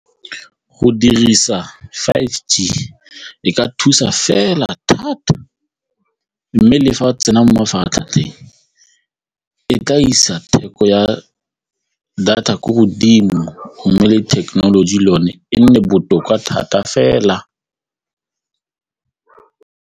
Go dirisa five G e ka thusa fela thata mme le fa o tsena mo mafaratlhatlheng e tla isa theko ya data ko godimo go mme le thekenoloji yone e nne botoka thata fela.